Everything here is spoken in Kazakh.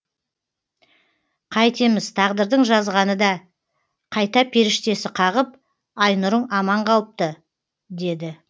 қайтеміз тағдырдың жазғаны да қайта періштесі қағып айнұрың аман қалыпты деді